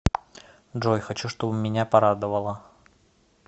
джой хочу чтобы меня порадовало